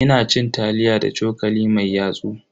Ina cin taliya da cokali mai yatsu.